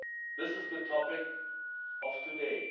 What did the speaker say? This is the topic of today.